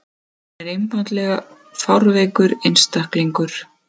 Hann er einfaldlega fárveikur einstaklingur.